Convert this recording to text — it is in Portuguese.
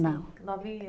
Não. Novinha